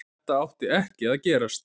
Þetta átti ekki að gerast.